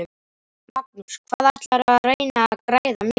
Magnús: Hvað ætlarðu að reyna að græða mikið?